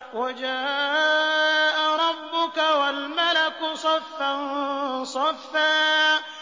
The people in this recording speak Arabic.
وَجَاءَ رَبُّكَ وَالْمَلَكُ صَفًّا صَفًّا